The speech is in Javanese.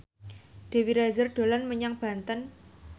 Dewi Rezer dolan menyang Banten